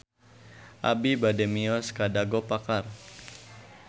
Abi bade mios ka Dago Pakar